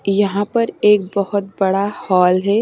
यहां पर एक बहुत बड़ा हॉल है।